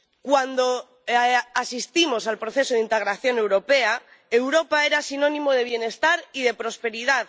Cuando asistimos al proceso de integración europea, Europa era sinónimo de bienestar y de prosperidad.